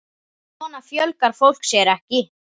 Svona fjölgar fólk sér ekki!